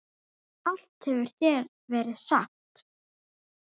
Allt hefur þegar verið sagt.